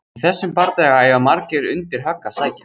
í þessum bardaga eiga margir undir högg að sækja!